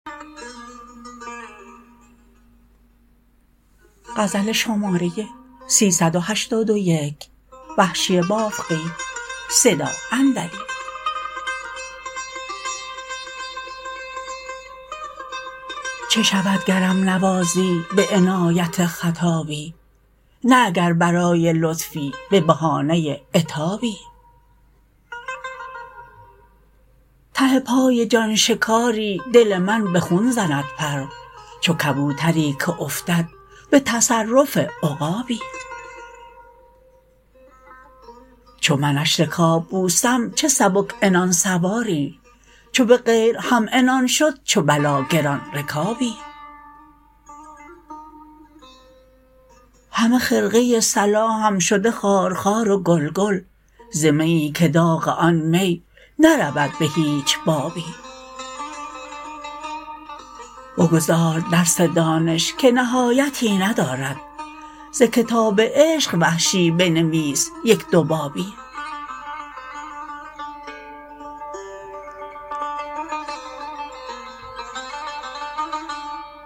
چه شود گرم نوازی به عنایت خطابی نه اگر برای لطفی به بهانه عتابی ته پای جان شکاری دل من به خون زند پر چو کبوتری که افتد به تصرف عقابی چو منش رکاب بوسم چه سبک عنان سواری چو به غیر همعنان شد چو بلا گران رکابی همه خرقه صلاحم شده خارخار و گل گل ز میی که داغ آن می نرود به هیچ بابی بگذار درس دانش که نهایتی ندارد ز کتاب عشق وحشی بنویس یک دو بابی